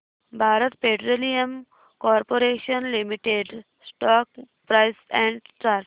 Bharat petroleum corporation limited stock price and chart